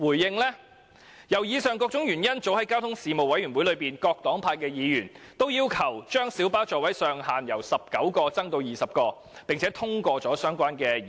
基於上述種種原因，各黨派議員早已在交通事務委員會的會議上，要求把小巴座位的上限由19個增至20個，並已通過相關的議案。